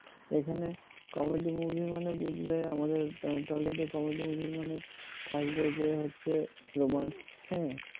হুম এখানে comedy movie মানে বুঝবে আমাদের tollywood comedy movie মানে থাকবে যে হচ্ছে রোমান্স হ্যাঁ